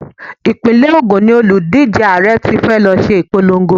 Ìpínlẹ̀ Ògún ni òlùdíje Ààrẹ tí fẹ́ lọ ṣe ìpolongo.